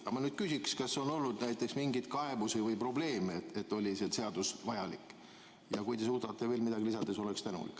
Ma küsin, kas on olnud näiteks mingeid kaebusi või probleeme, kas see seadus oli vajalik ja kui te suudate veel midagi lisada, siis olen tänulik.